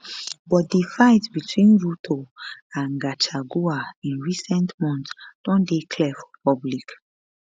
but di fight between ruto and gachagua in recent months don dey clear for public